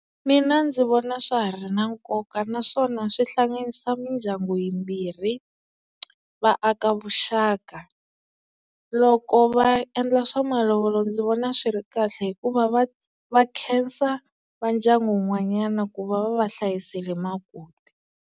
Mina ndzi vona swa ha ri na nkoka naswona swi hlanganisa mindyangu yimbirhi va aka vuxaka loko va endla swa malovolo ndzi vona swi ri kahle hikuva va va khensa va ndyangu wun'wanyana ku va va va hlayisele makoti.